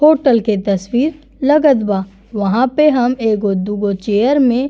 Hotel के तस्वीर लगत बा। वहाँ पे हम एगो दुगो चेयर में --